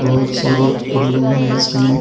बहुत सारे रूम है इसमें।